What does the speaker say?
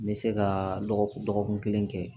N bɛ se ka dɔgɔkun dɔgɔkun kelen kɛ